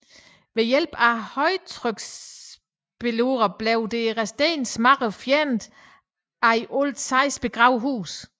Ved hjælp af højtryksspulere blev det resterende mudder fjernet fra de i alt seks begravede huse